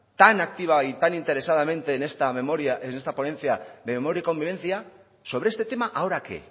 tan activa y tan interesadamente en esta ponencia de memoria y convivencia sobre este tema ahora qué